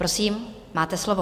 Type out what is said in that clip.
Prosím, máte slovo.